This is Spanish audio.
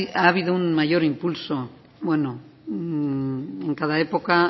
ha habido un mayor impulso bueno en cada época